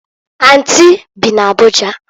Anti bị n'Abuja.